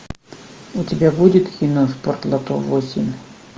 у тебя будет кино спортлото восемь